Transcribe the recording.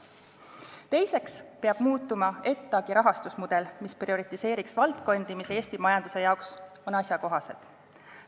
Teiseks peab muutuma ETAg-i rahastusmudel, mis prioriseeriks valdkondi, mis Eesti majandusele on asjakohased.